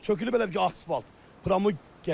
Çökülüb elə bil ki, asfalt, getib.